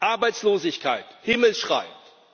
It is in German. Arbeitslosigkeit himmelschreiend